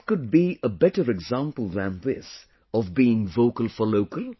What could be a better example than this of being vocal for local